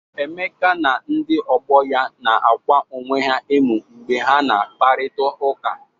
Emeka na ndị ọgbọ ya nara akwa onwe ha emụ mgbe ha na akparịtaụka.